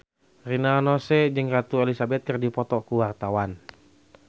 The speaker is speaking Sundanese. Rina Nose jeung Ratu Elizabeth keur dipoto ku wartawan